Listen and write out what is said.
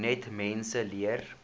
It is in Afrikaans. net mense leer